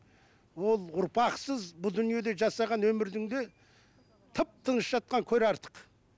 ол ұрпақсыз бұл дүниеде жасаған өмірдің де тып тыныш жатқан көр артық